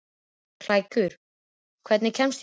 Klængur, hvernig kemst ég þangað?